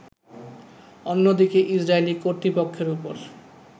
অন্যদিকে ইসরাইলি কর্তৃপক্ষের উপর